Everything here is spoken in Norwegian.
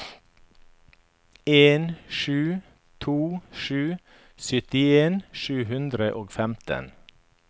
en sju to sju syttien sju hundre og femten